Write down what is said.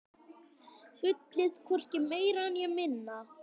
Gullið, hvorki meira né minna.